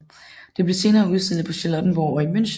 Det blev senere udstillet på Charlottenborg og i München